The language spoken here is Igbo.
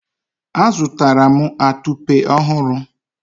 azụtara m atupe ọhụrụ